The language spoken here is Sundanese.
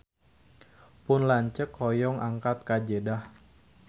Pun lanceuk hoyong angkat ka Jeddah